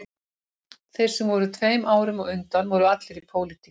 Þeir sem voru tveim árum á undan voru allir í pólitík